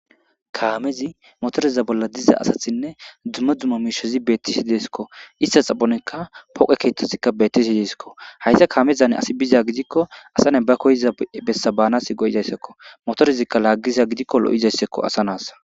Kaamezi motoriza bolla diza asathinne dzumma dzuma miishezi beettisi deesikko ista xaphonekka poqe keettozikka betisi deesikko hayta kaamezane asi biza gidikko asane ba koyiza bessabaanas go'izayssekko motorezikka laaggiza gidikko lo'izayssekko asanas.